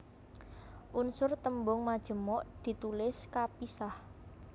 Unsur tembung majemuk ditulis kapisah